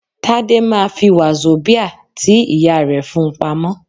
Tádé ma fi wazobia tí ìyá rẹ̀ fún-un pamọ́.